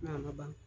Na ma ban